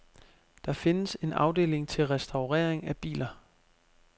Der findes en afdeling til restaurering af biler.